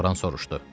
Loran soruşdu.